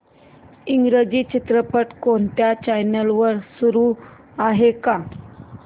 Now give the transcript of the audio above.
इंग्रजी चित्रपट कोणत्या चॅनल वर चालू आहे का